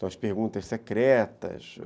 as perguntas secretas.